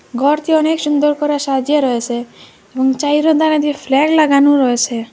ঘরটি অনেক সুন্দর করে সাজিয়ে রয়েসে এবং চাইরোদারে দিয়ে ফ্ল্যাগ লাগানো রয়েসে।